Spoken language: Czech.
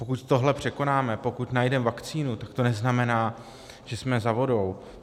Pokud tohle překonáme, pokud najdeme vakcínu, tak to neznamená, že jsme za vodou.